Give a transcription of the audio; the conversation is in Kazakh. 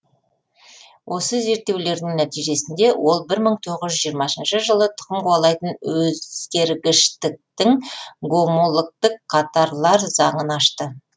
осы зерттеулердің нәтижесінде ол бір мың тоғыз жүз жиырмасыншы жылы тұқым қуалайтын өзгергіштіктің гомологтік қатарлар заңын ашты